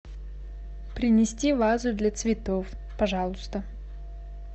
принести вазу для цветов пожалуйста